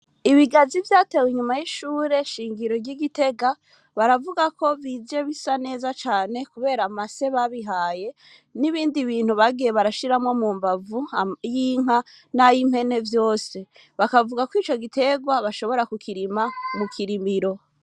Ibigazi, vyatewe, inyuma y'ishure shingiro, ry'i Gitega; baravuga ko, bije bisa neza cane, kubera, amase babihaye, n'ibindi bintu, bagiye barashiramwo, mu mbavu; ay'inka, n'ay'impene, vyose; bakavuga ko, ico giterwa, bashobora kukirima, mu Kirimiro.